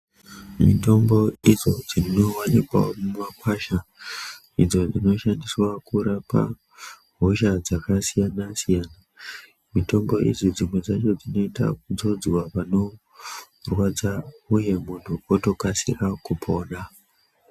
Mitombo idzo dzinowanikwawo mumakwasha ,idzo dzinoshandiswa kurapa ,hosha dzakasiyana siyana ,mitombo idzi dzimwe dzacho dzinoita kutsonzwa panorwadza uye munhu otokasire kupona .